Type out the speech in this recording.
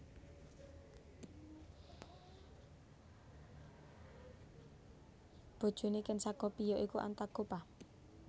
Bojone Ken Sagopi ya iku Antagopa